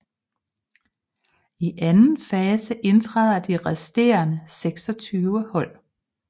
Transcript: I anden fase indtræder de resterende 26 hold